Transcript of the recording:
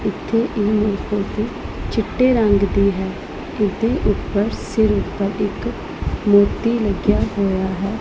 ਇਥੇ ਏਹ ਚਿੱਟੇ ਰੰਗ ਦੀ ਹੈ ਇਹਦੇ ਉੱਪਰ ਸਿਰ ਉਪਰ ਇਕ ਮੋਤੀ ਲੱਗਿਆ ਹੋਇਆ ਹੈ।